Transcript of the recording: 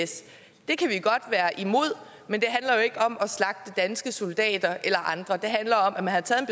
is det kan vi godt være imod at men det handler jo ikke om at slagte danske soldater eller andre det handler om at man har taget